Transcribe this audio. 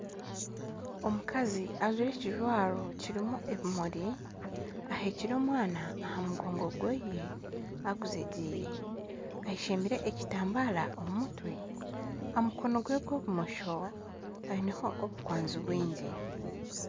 Omukazi ajwire ekijwaro kirimu ebimuri ahekire omwana aha mugogo gwe agwejengyeire ayeshembire ekitambara aha mutwe gwe, aha mukono gwa bumosho aineho obukwanzi bwingi